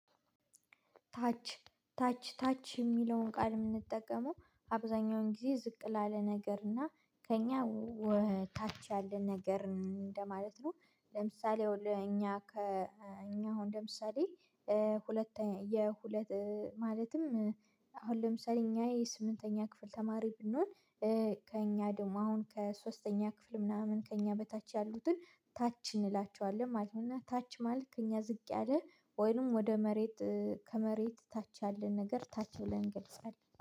ታች ታች ታች የሚለውን ቃል የምንጠቀመው አብዛኛውን ጊዜ ዝቅ ላለ ነገርና ከእኛ ታች ያለ ነገር እንደማለት ነው። ለምሳሌ ለእኛ ከእኛ አሁን ለምሳሌ ሁለተኛ የሁለት ማለትም አሁን ለምሳሌ እኛ የስምንተኛ ክፍል ተማሪ ብንሆን ከእኛ ደግሞ አሁን ከሶስተኛ ክፍል ምናምን ከእኛ በታች ያሉትን ታች እንላቸዋለን ማለት ነው። እና ታች ማለት ከእኛ ዝቅ ያለ ወይንም ወደ መሬት ከመሬት ታች ያለን ነገር ታች ብለን እንገልጻለን